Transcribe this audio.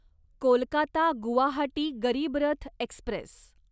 Kolkata Guwahati Garib Rath Express